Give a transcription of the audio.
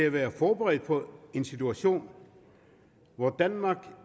at være forberedt på en situation hvor danmark